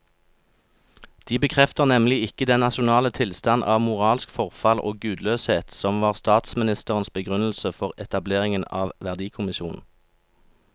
De bekrefter nemlig ikke den nasjonale tilstand av moralsk forfall og gudløshet som var statsministerens begrunnelse for etableringen av verdikommisjonen.